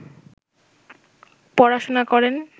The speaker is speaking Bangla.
পড়াশুনা করেন